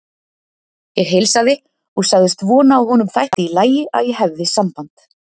Ég heilsaði og sagðist vona að honum þætti í lagi að ég hefði samband.